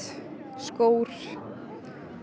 skór